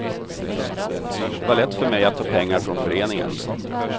Det var lätt för mig att ta pengar från föreningen.